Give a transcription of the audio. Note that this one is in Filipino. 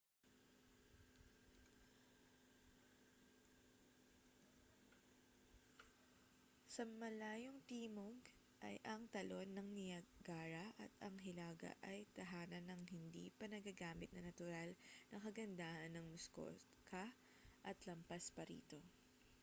sa malayong timog ay ang talon ng niagara at ang hilaga ay tahanan ng hindi pa nagagamit na natural na kagandahan ng muskoka at lampas pa rito